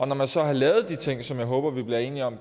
når man så har lavet de ting som jeg håber vi bliver enige om